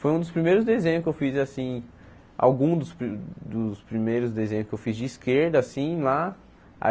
Foi um dos primeiros desenhos que eu fiz, assim, alguns dos pri dos primeiros desenhos que eu fiz de esquerda, assim, lá.